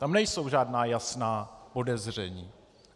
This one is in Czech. Tam nejsou žádná jasná podezření.